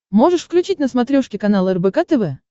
можешь включить на смотрешке канал рбк тв